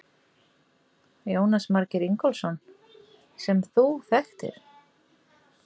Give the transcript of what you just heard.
Jónas Margeir Ingólfsson: Sem þú þekktir?